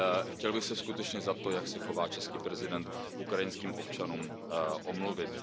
Chtěl bych se skutečně za to, jak se chová český prezident k ukrajinským občanům, omluvit.